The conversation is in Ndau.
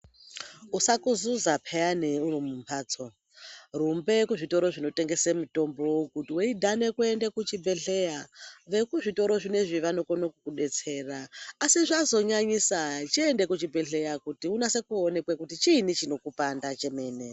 Usakuzuza peyani uri mumbatso rumbe kuzvitoro zvinotengese mutombo kuti weidhane kuende kuchibhehleya vekuzvitoro zvinezvi vanokone kukubetsera asi zvazonyanyisa chiende kuchibhehleya kuti unase kuonekwe kuti chini chinokupanda chemene.